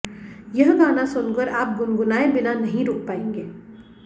यह गाना सुनकर आप गुनगुनाए बिना नहीं रुक पाएंगे